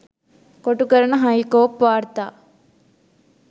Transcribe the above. කොටු කරන හයිකෝප් වාර්තා